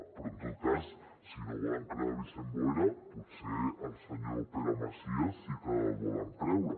però en tot cas si no volen creure vicent boira potser al senyor pere macias sí que el volen creure